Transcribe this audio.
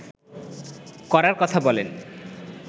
করার কথা বলেন